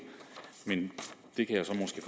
men det kan